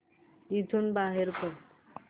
इथून बाहेर पड